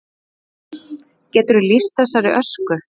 Þórdís: Geturðu lýst þessari ösku?